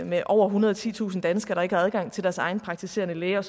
med over ethundrede og titusind danskere der ikke har adgang til deres egen praktiserende læge og